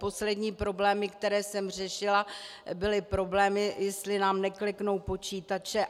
Poslední problémy, které jsem řešila, byly problémy, jestli nám nekliknou počítače.